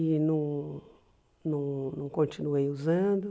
E não não não continuei usando.